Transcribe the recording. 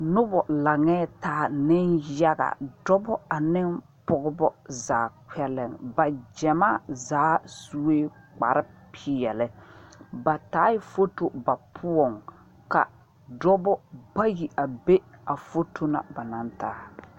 Noba laŋɛɛ taa nenyaga dɔba ane pɔgeba zaa kpɛlɛŋ ba gyamaa zaa sue kparepeɛle ba taaɛ foto ba poɔŋ ka dɔba bayi a be a foto na ba naŋ taa.